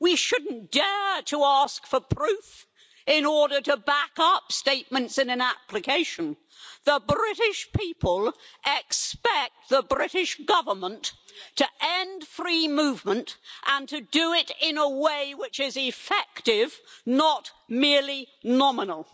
We shouldn't dare to ask for proof in order to back up statements in an application. The British people expect the British Government to end free movement and to do it in a way which is effective, not merely nominal.